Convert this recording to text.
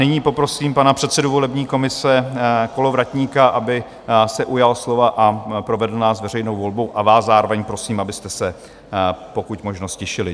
Nyní poprosím pana předsedu volební komise Kolovratníka, aby se ujal slova a provedl nás veřejnou volbou, a vás zároveň prosím, abyste se pokud možno ztišili.